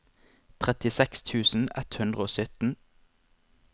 trettiseks tusen ett hundre og sytten